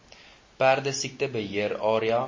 perdesiekte beheer area